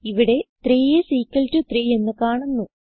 ഇവിടെ 3 is equal to 3 എന്ന് കാണുന്നു